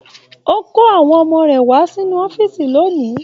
O kò àwọn ọmọ rẹ wà nínú ọ̀fiísí lóni.